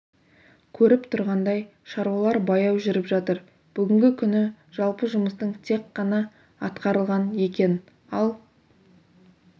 көріп тұрғандай шаруалар баяу жүріп жатыр бүгінгі күні жалпы жұмыстың тек ғана атқарылған екен ал